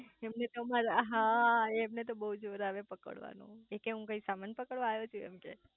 એમને તો અમર હા એમને તો બહુ જોર આવે પકડવાનું એ કે હું સમાન પકડવા આયો છું